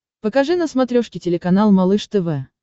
покажи на смотрешке телеканал малыш тв